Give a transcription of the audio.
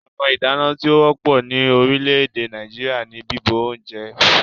Ọ̀nà ìdáná tí ó wọ́pọ̀ ní orílẹ̀-èdè Nàìjíríà ní bíbọ oúnjẹ